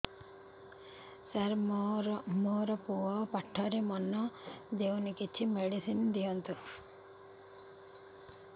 ସାର ମୋର ପୁଅ ପାଠରେ ମନ ଦଉନି କିଛି ମେଡିସିନ ଦିଅନ୍ତୁ